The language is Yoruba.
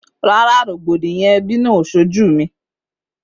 Rárá, mi ò rí rògbòdìyàn ẹbí